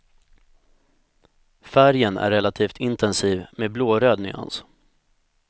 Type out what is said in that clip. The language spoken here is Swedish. Färgen är relativt intensiv med blåröd nyans.